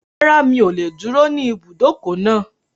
Rárá, mi ò lè dúró ní ibùdókọ̀ náà